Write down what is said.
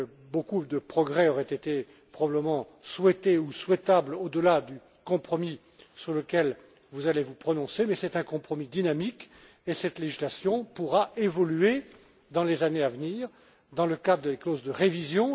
Beaucoup de progrès auraient été probablement souhaités ou souhaitables au delà du compromis sur lequel vous allez vous prononcer, mais c'est un compromis dynamique et cette législation pourra évoluer dans les années à venir dans le cas des clauses de révision.